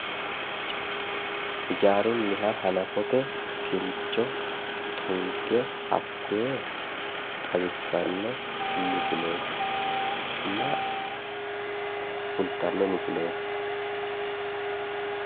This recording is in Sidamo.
Hijaarunha hanafote kincho tunge hakoye xawisano misiletina kulitano misileti